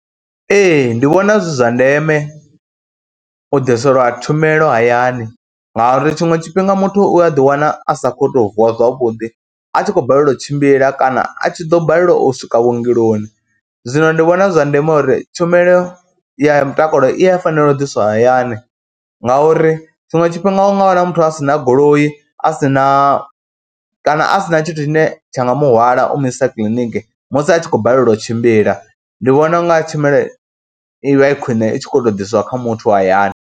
Ee ndi vhona zwi zwa ndeme u ḓiselwa tshumelo hayani ngauri tshiṅwe tshifhinga muthu u a ḓiwana a sa kho tou vuwa zwavhuḓi a tshi khou balelwa u tshimbila kana a tshi ḓo balelwa u swika vhuongeloni. Zwino ndi vhona zwi zwa ndeme uri tshumelo ya mutakalo i ya fanela u ḓiswa hayani ngauri tshiṅwe tshifhinga u nga wana muthu a si na goloi, a si na kana a si na tshithu tshine tsha nga muhwalo u mu i sa kiḽiniki musi a tshi khou balelwa u tshimbila. Ndi vhona unga tshumelo i vha i khwine i tshi khou tou ḓiswa kha muthu hayani.